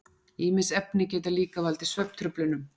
Ýmis efni geta líka valdið svefntruflunum.